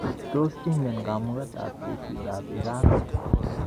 Tos ingen kamuketab jeshitab Iran?